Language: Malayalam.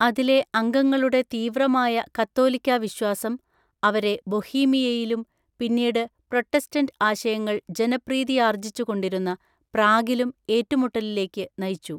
അതിലെ അംഗങ്ങളുടെ തീവ്രമായ കത്തോലിക്കാ വിശ്വാസം, അവരെ ബൊഹീമിയയിലും, പിന്നീട് പ്രൊട്ടസ്റ്റൻറ് ആശയങ്ങൾ ജനപ്രീതിയാർജിച്ചുകൊണ്ടിരുന്ന പ്രാഗിലും, ഏറ്റുമുട്ടലിലേക്ക് നയിച്ചു.